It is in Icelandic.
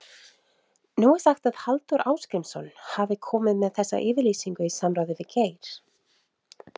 Nú er sagt að Halldór Ásgrímsson hafi komið með þessa yfirlýsingu í samráði við Geir?